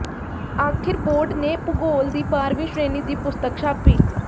ਆਖਿਰ ਬੋਰਡ ਨੇ ਭੂਗੋਲ ਦੀ ਬਾਰਵੀਂ ਸ਼੍ਰੇਣੀ ਦੀ ਪੁਸਤਕ ਛਾਪੀ